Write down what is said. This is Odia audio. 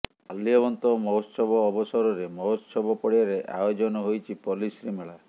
ମାଲ୍ୟବନ୍ତ ମହୋତ୍ସବ ଅବସରରେ ମହୋତ୍ସବ ପଡ଼ିଆରେ ଆୟୋଜନ ହୋଇଛି ପଲ୍ଲିଶ୍ରୀମେଳା